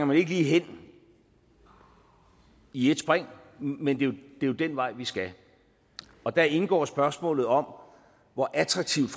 man ikke lige hen i et spring men det er jo den vej vi skal og der indgår spørgsmålet om hvor attraktivt